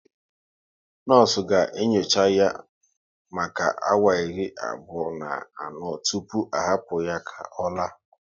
Nọọsụ ga enyocha ya maka awa iri abụọ na anọ tụpụ a hapụ ya ka ọ la